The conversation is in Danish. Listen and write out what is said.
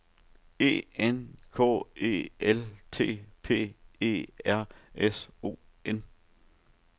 E N K E L T P E R S O N